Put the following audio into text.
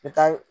N bɛ taa